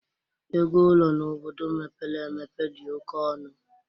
Ego ụlọ n'obodo mepere emepe dị oké ọnụ